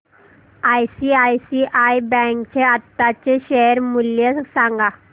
ICICI bank चे आताचे share मूल्य सांगा